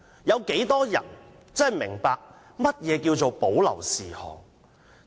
有多少人真的明白何謂保留事項？